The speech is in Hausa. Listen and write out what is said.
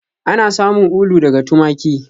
Ana samun ulu daga tumaki